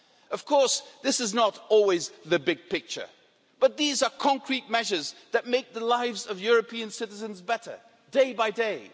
Of course, this is not always the big picture, but these are concrete measures that make the lives of European citizens better day by day.